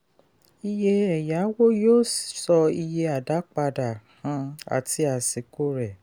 iye ẹ̀yáwó yóò sọ ìye àdápadà um àti àsìkò rẹ̀.